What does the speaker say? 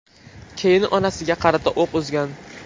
Keyin onasiga qarata o‘q uzgan.